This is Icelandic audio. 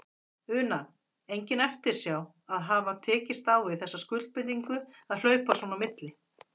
Una: Engin eftirsjá að hafa tekist á við þessa skuldbindingu að hlaupa svona á milli?